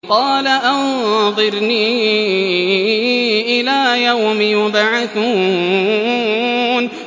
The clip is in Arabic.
قَالَ أَنظِرْنِي إِلَىٰ يَوْمِ يُبْعَثُونَ